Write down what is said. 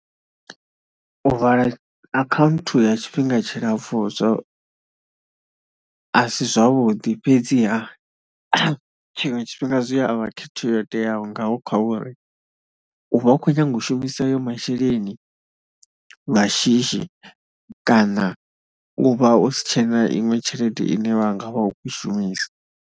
U vala akhaunthu ya tshifhinga tshilapfhu zwo, a si zwavhuḓi fhedziha tshiṅwe tshifhinga zwi a vha khetho yo teaho nga kha uri u vha u khou nyaga u shumisa ayo masheleni nga shishi kana u vha o si tshena iṅwe tshelede ine wa nga vha u khou i shumisa.